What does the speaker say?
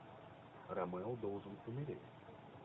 ромео должен умереть